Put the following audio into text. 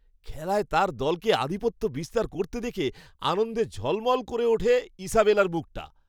খেলায় তাঁর দলকে আধিপত্য বিস্তার করতে দেখে, আনন্দে ঝলমল করে ওঠে ইসাবেলার মুখটা।